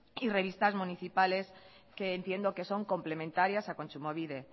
y revistas municipales que entiendo que son complementarias a kontsumobide